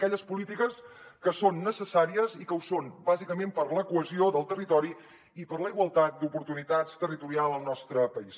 aquelles polítiques que són necessàries i que ho són bàsicament per a la cohesió del territori i per a la igualtat d’oportunitats territorial al nostre país